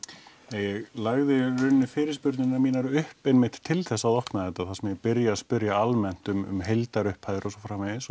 ég lagði í rauninni fyrirspurnirnar mínar upp einmitt til þess að opna þetta þar sem ég byrja að spyrja um heildarupphæðir og svo framvegis